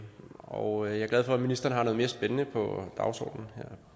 og jeg er glad for at ministeren har noget mere spændende på dagsordenen her